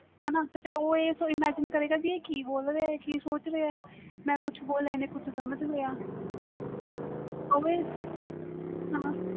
ਹਾਣਾ ਤੇ ਉਹ imagine ਕਰਗੇ ਕਿ ਆਹ ਕਿ ਬੋਲ ਰਹੇ ਵ ਕਿ ਬੋਲ ਰਹੇ ਵ ਮੈਂ ਕੁਛ ਬੋਲ ਰਹੇ ਵ ਆਹ ਕੁਛ ਸਮਝ ਲਿਆ